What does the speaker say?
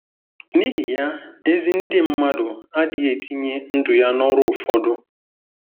N'ihi ya, ezi ndị mmadụ adịghị etinye ndụ ya n'ọrụ ụfọdụ.